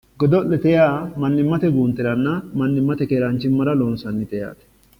Godo'lete yaa mannimmate guunteranna mannimmate keeraanchimmara loonsannite yaate